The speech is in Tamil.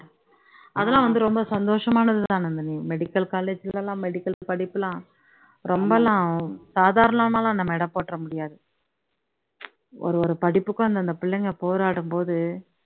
அதெல்லாம் வந்து ரொம்ப சந்தோஷமானது தான் நந்தினி medical college ல எல்லாம் medical படிப்பு எல்லாம் ரொம்பல்லாம் ஆகும் சாதாரணமா எல்லாம் நம்ம எடை போட்டுட முடியாது ஒரு ஒரு படிப்புக்கும் அந்தந்த புள்ளைங்க வந்து போராடும் போது